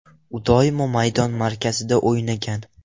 U doimo maydon markazida o‘ynagan.